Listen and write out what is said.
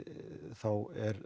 þá er